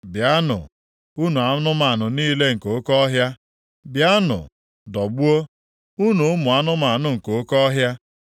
Bịanụ, unu anụmanụ niile nke oke ọhịa. Bịanụ dọgbuo, unu ụmụ anụmanụ nke oke ọhịa.